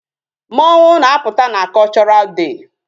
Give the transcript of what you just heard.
Mmọnwụ na-apụta na Cultural Day.